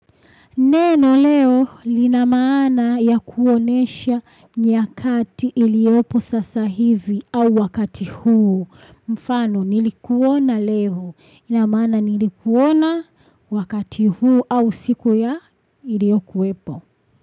Neno leo lina maana ya kuonyesha nyakati iliopo sasa hivi au wakati huu. Mfano nilikuona leo. Inamana nilikuona wakati huo au siku ya iliyokuwepo.